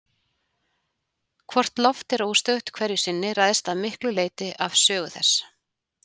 Hvort loft er óstöðugt hverju sinni ræðst að miklu leyti af sögu þess.